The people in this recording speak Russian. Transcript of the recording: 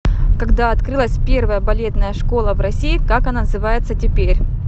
когда открылась первая балетная школа в россии как она называется теперь